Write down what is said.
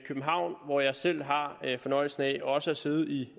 københavn hvor jeg selv har fornøjelsen af også at sidde i